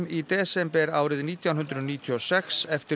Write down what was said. í desember árið nítján hundruð níutíu og sex eftir